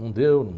Não deu.